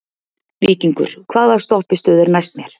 Víkingur, hvaða stoppistöð er næst mér?